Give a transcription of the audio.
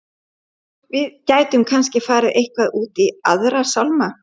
Við gætum kannski farið eitthvað út í Aðra sálma.